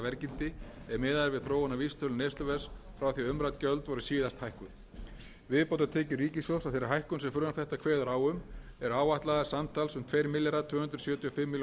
verðgildi ef miðað er við þróun á vísitölu neysluverðs frá því umrædd gjöld voru síðast hækkuð viðbótartekjur ríkissjóðs af þeirri hækkun sem frumvarp þetta kveður á um eru áætlaðar samtals um tvö þúsund tvö hundruð sjötíu